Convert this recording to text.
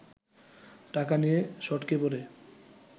টাকা নিয়ে সটকে পড়ে